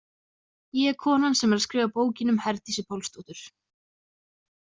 Ég er konan sem er að skrifa bókina um Herdísi Pálsdóttur.